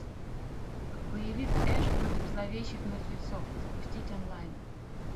боевик эш против зловещих мертвецов запустить онлайн